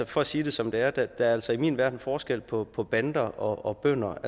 for at sige det som det er er der altså i min verden forskel på på bander og bønder